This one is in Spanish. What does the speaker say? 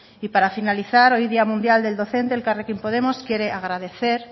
y para finalizar hoy día mundial del docente elkarrekin podemos quiere agradecer